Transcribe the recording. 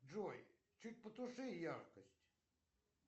джой чуть потуши яркость